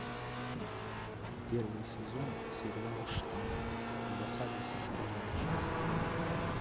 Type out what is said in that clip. первый сезон сериала штамм в осаде сороковая часть